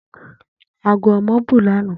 Ago omo bu lana.